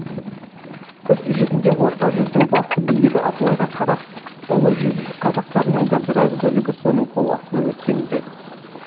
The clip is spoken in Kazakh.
іс жүзінде орта жүздің басты билігі абылайға қарап ұлы жүз қазақтарының да біраз бөлігі соның қол астына өткен ді